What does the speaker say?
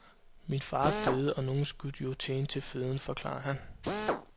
Min far døde og nogen skulle jo tjene til føden, forklarer han.